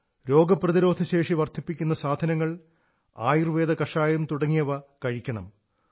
രോഗപ്രതിരോധശേഷി വർധിപ്പിക്കുന്ന സാധനങ്ങൾ ആയുർവ്വേദ കഷായം തുടങ്ങിയവ കഴിക്കണം